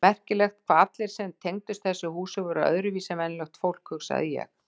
Merkilegt hvað allir sem tengdust þessu húsi voru öðruvísi en venjulegt fólk hugsaði ég.